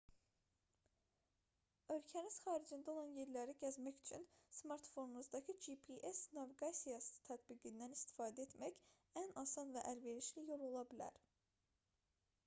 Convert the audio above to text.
ölkəniz xaricində olan yerləri gəzmək üçün smartfonunuzdakı gps naviqasiyası tətbiqindən istifadə etmək ən asan və əlverişli yol ola bilər